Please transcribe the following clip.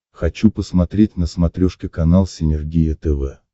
хочу посмотреть на смотрешке канал синергия тв